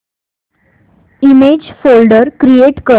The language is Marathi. इमेज फोल्डर क्रिएट कर